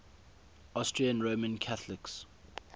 austrian roman catholics